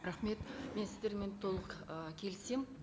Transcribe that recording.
рахмет мен сіздермен толық ы келісемін